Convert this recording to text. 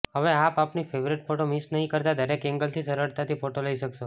હવે આપ આપની ફેવરેટ ફોટો મિસ નહી કરતા દરેક એંગલથી સરળતાથી ફોટો લઇ શકશો